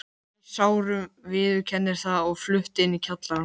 Var í sárum, viðurkennir það, og flutti inn í kjallarann.